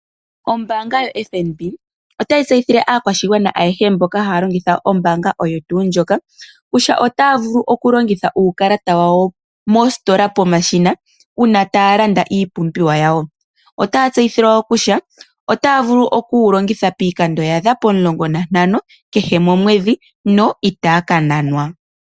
Ombanga ya FNB otayi tseyithile aakwashigwana ayehe mboka haya longitha ombanga oyo tuu ndjika kutua otaya vulu oku longitha uukalata wawo mostola pomashina, uuna taya landa iipumbiwa yawo. Otaya tseithilwa wo kutya, otaya vulu oku wu longitha piikando yaadha pomulongo na ntano kehe komwedhi na itaya ka nanwa.